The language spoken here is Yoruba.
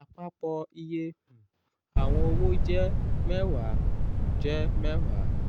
àpapọ̀ iye um àwọn owo jẹ́ mẹ́wàá. jẹ́ mẹ́wàá.